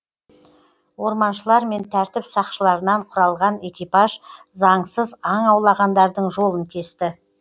орманшылар мен тәртіп сақшалырынан құралған экипаж заңсыз аң аулағандардың жолын кесті